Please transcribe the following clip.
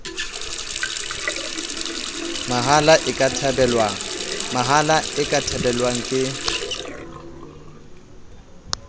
mahala e ka thabelwang ke